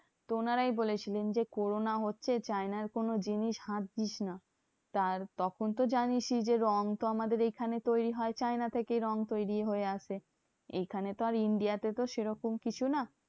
তো ওনারাই বলেছিলেন যে, corona হচ্ছে চায়নার কোনো জিনিস হাত দিস না। তার তখন তো জানিসই যে রং তো আমাদের এখানে তৈরী হয় চায়না থেকেই রং তৈরী হয়ে আসে। এখানে তো আর India তে তো সেরকম কিছু না।